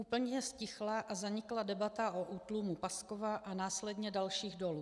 Úplně ztichla a zanikla debata o útlumu Paskova a následně dalších dolů.